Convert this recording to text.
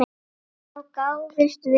Þá gáfumst við upp.